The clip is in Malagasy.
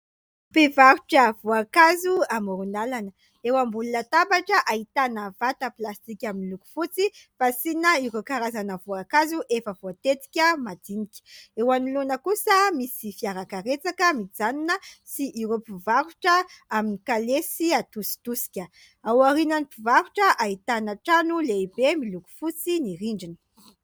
Mpivarotra voankazo amoron-dalana. Eo ambony tabatra ahitana vata plastika miloko fotsy fasiana ireo karazana voankazo efa voatetika madinika. Eo anoloana kosa misy fiara karetsaka mijanona sy ireo mpivarotra amin'ny kalesy hatositosika. Ao aorian'ny mpivarotra ahitana trano lehibe miloko fotsy ny rindrina.